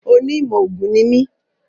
Oní ìmọ̀ ògùn ní mi